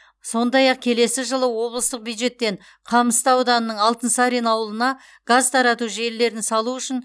сондай ақ келесі жылы облыстық бюджеттен қамысты ауданының алтынсарин ауылына газ тарату желілерін салу үшін